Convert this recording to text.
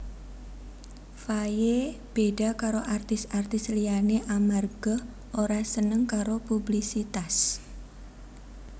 Faye beda karo artis artis liyané amarga ora seneng karo publisitas